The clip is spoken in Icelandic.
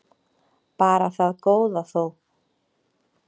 Bara það góða þó.